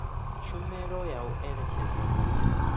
tshumelo ya u eletshedza ndi